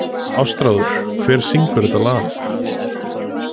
Ástráður, hver syngur þetta lag?